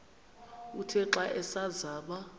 uthe xa asazama